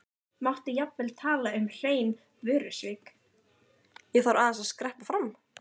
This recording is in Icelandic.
Ég þarf aðeins að skreppa fram.